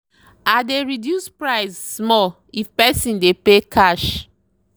i dey reduce price small if person dey pay cash.